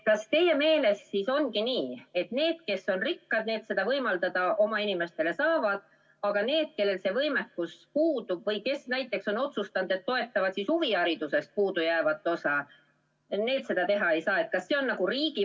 Kas teie meelest siis ongi nii, et need, kes on rikkad, saavad seda oma inimestele võimaldada, aga need, kellel see võimekus puudub või kes on otsustanud, et toetavad huvihariduses puudujäävat osa, seda teha ei saa?